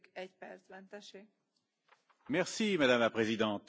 Madame la Présidente, le respect des droits de l'homme est essentiel.